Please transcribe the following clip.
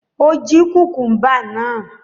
Ó jí kùkúḿbà náà?